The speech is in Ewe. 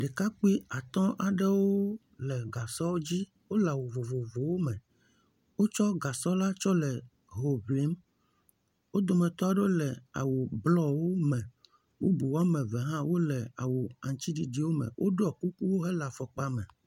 Ɖekakpui atɔ aɖewo le gasɔ dzi. Wole awu vovovowo me. Wotsɔ gasɔ la tsɔ le ho ŋlim. Wo dometɔ aɖewo le awu bluwo me. Bubu wɔme eve hã le awu aŋtsiɖiɖiwo me, woɖɔ kuku hele afɔkpa me.